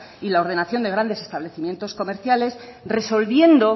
y la ordenación de grandes establecimientos comerciales resolviendo